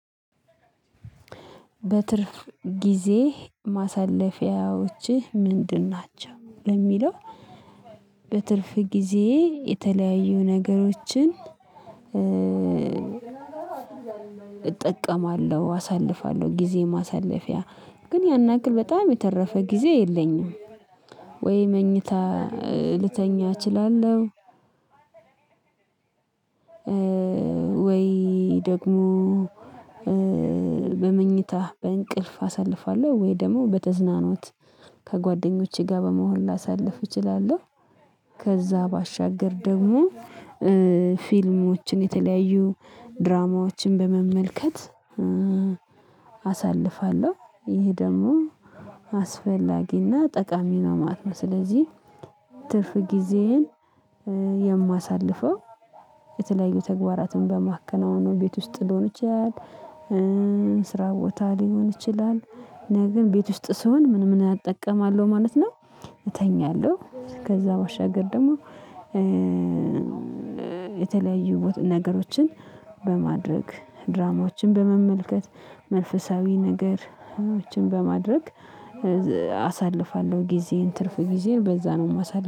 በትርፍ ጊዜ ማሳለፊያዎችህ ምንድን ናቸው? የሚለው። በትርፍ ጊዜ የተለያዩ ነገሮችን። እጠቀማለሁ አሳልፋለሁ ጊዜ ማሳለፊያ ግን ያን ያክል በጣም የተረፈ ጊዜ የለኝም። ወይ መኝታ ልተኛ እችላለሁ። ወይ ደግሞ በመኝታህ በእንቅልፍ አሳልፋለሁ ወይ ደግሞ በተዝናኖት ከጓደኞቼ ጋር በመሆን ላሳልፍ እችላለሁ። ከዛ ባሻገር ደግሞ ፊልሞችን የተለያዩ ድራማዎችን በመመልከት አሳልፋለሁ። ይሄ ደግሞ አስፈላጊና ጠቃሚ ነው ማለት ነው። ስለዚህ ትርፍ ጊዜዬን የማሳልፈው የተለያዩ ተግባራትን በማከናወኑ ቤት ውስጥ ሊሆን ይችላል። ስራ ቦታ ሊሆን ይችላል። ግን ቤት ውስጥ ስሆን ምን ምን እጠቀማለሁ ማለት ነው። እተኛለሁ ከዛ ባሸገር ደግሞ። የተለያዩ ነገሮችን በማድረግ ድራማዎችን በመመልከት መንፈሳዊ ነገሮችን በማድረግ አሳልፋለሁ። ጊዜን ትርፍ ጊዜን በዛ ነው የማሳልፍ